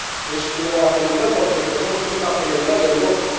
Es una prioridad, porque entendemos que es una prioridad de Europa.